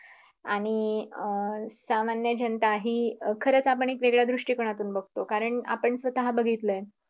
आणि अं सामान्य जनताही खरंच आपण वेगळ्या दृष्टिकोनातून बघतो कारण आपण स्वतः बघितलंय